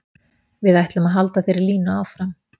Við ætlum að halda þeirri línu áfram.